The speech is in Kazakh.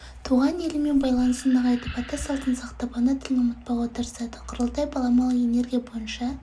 туған елімен байланысын нығайтып ата салтын сақтап ана тілін ұмытпауға тырысады құрылтай баламалы энергия бойынша